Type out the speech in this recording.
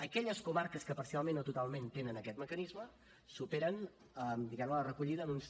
aquelles comarques que parcialment o totalment tenen aquest mecanisme superen diguem ne la recollida en uns